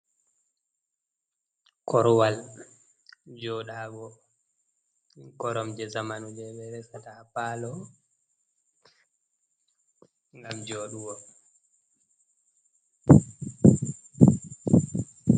Korwal joɗago, korom je zamanu je ɓe resata ha palo gam joɗugo.